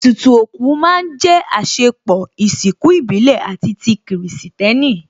Ètùtù òkú má ń jẹ́ àsèpọ̀ ìsìnkú ìbílẹ̀ àti ti kìrìsìtẹ́nì